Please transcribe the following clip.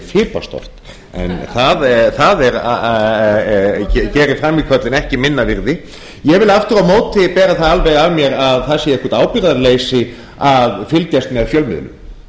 fipast oft en það gerir frammíköllin ekki minna virði ég vil aftur á móti bera það alveg af mér að það sé eitthvað ábyrgðarleysi að fylgjast með fjölmiðlum